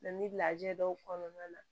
Nga ni lajɛ dɔw kɔnɔna na